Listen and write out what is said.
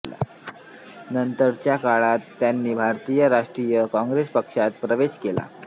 नंतरच्या काळात त्यांनी भारतीय राष्ट्रीय काँग्रेस पक्षात प्रवेश केला